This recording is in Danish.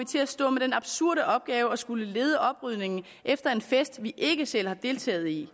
til at stå med den absurde opgave at skulle lede oprydningen efter en fest vi ikke selv har deltaget i